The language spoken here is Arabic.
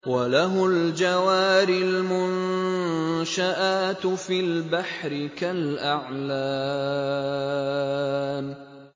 وَلَهُ الْجَوَارِ الْمُنشَآتُ فِي الْبَحْرِ كَالْأَعْلَامِ